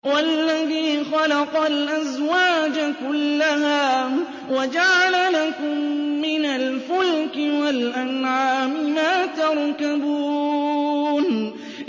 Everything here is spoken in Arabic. وَالَّذِي خَلَقَ الْأَزْوَاجَ كُلَّهَا وَجَعَلَ لَكُم مِّنَ الْفُلْكِ وَالْأَنْعَامِ مَا تَرْكَبُونَ